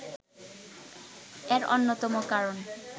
এর অন্যতম কারণ